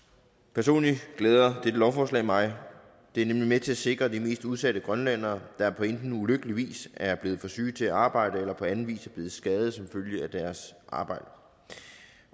personligt glæder dette lovforslag mig det er nemlig med til at sikre de mest udsatte grønlændere der enten på ulykkelig vis er blevet for syge til at arbejde eller på anden vis er blevet skadet som følge af deres arbejde